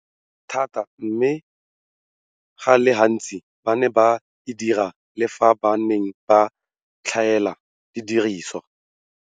Thata, mme go le gantsi ba ne ba e dira le fa ba ne ba tlhaela didirisiwa.